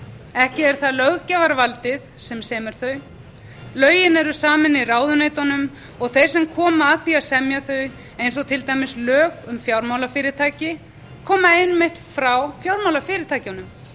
ekki er það löggjafarvaldið sem semur þau lögin eru samin í ráðuneytunum og þeir sem koma að því að semja þau eins og til dæmis á um fjármálafyrirtæki koma einmitt frá fjármálafyrirtækjunum